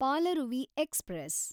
Palaruvi express